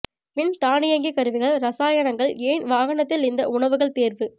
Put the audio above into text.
win தானியங்கிக் கருவிகள் ரசாயனங்கள் ஏன் வாகனத்தில் இந்த உணவுகள் தேர்வு